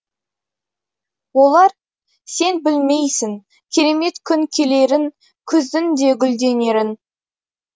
олар сен білмейсің керемет күн келерін күздің де гүлденерін